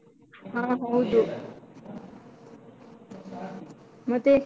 ಹಾ ಹೌದು, ಮತ್ತೆ?